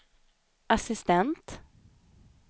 assistent